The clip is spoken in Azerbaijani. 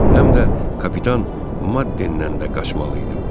Həm də kapitan Maddenləndən də qaçmalı idim.